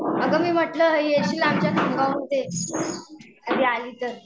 अगं मी म्हंटलं येशील आमच्या खामगावमध्ये. कधी आली तर.